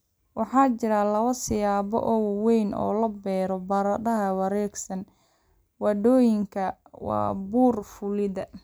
Waxaa jira laba siyaabood oo waaweyn oo loo beero baradhada wareegsan. Waddooyinkan waa buur fuulid